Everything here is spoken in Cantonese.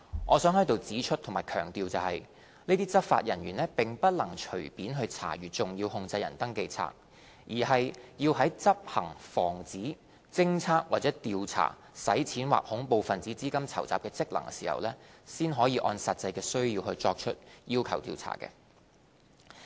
我想在此指出和強調，這些執法人員並不能隨便查閱"重要控制人登記冊"，而是要在執行防止、偵測或調查洗錢或恐怖分子資金籌集的職能時，才可按實際需要作出要求查閱。